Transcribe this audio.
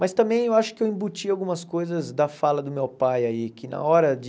Mas também eu acho que eu embuti algumas coisas da fala do meu pai aí, que na hora de...